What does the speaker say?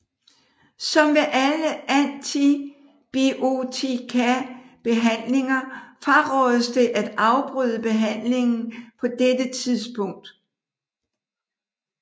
Som ved alle antibiotikabehandlinger frarådes det at afbryde behandlingen på dette tidspunkt